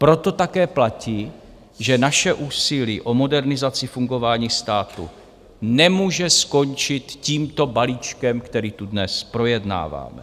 Proto také platí, že naše úsilí o modernizaci fungování státu nemůže skončit tímto balíčkem, který tu dnes projednáváme.